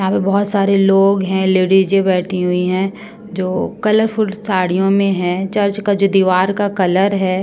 यहाँ पे बहोत सारे लोग है। लेडीजे बैठे हुए है जो कलरफूल साड़ियों में है। चर्च का जो दीवार का कलर है--